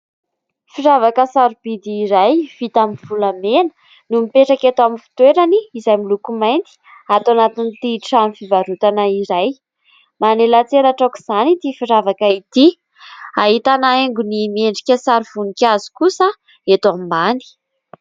Firavaka sarobidy iray vita amin'ny volamena no mipetraka eto amin'ny fitoerany izay miloko mainty ato anatin'ity trano fivarotana iray. Manelatselatra aok'izany ity firavaka ity. Ahitana haingony miendrika sary voninkazo kosa eto ambany.